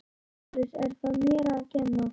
LÁRUS: Er það mér að kenna?